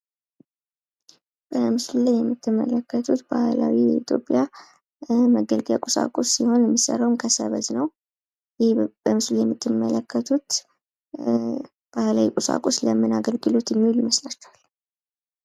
በምስሉ ላይ የምትመለከቱት ባህላዊ የኢትዮጵያ መገልገያ ቁሳቁስ ሲሆን የሚሠራው ከሰበዝ ነው። በምስሉ የምትመለከቱት ባህላዊ ቁሳቁስ ለምን አገልግሎት የሚል ይመስላቸዋል?